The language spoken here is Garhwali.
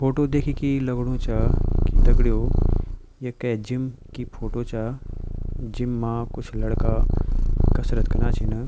फोटो देखि की ई लगणु चा की दगड़ियों ये कै जीम की फोटो चा जिम मा कुछ लड़का कसरत कना छिन।